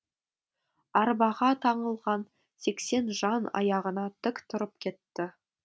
арбаға таңылған сексен жан аяғына тік тұрып кетті